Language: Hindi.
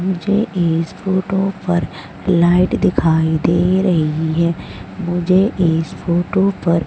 मुझे इस फोटो पर लाइट दिखाई दे रही है। मुझे इस फोटो पर--